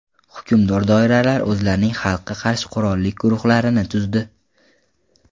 Hukmdor doiralar o‘zlarining xalqqa qarshi qurolli guruhlarini tuzdi.